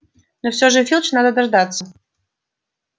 но все же филча надо дождаться